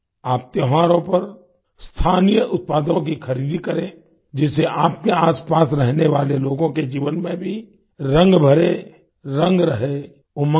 आप त्योहारों पर स्थानीय उत्पादों की खरीदी करें जिससे आपके आसपास रहने वाले लोगों के जीवन में भी रंग भरे रंग रहे उमंग रहे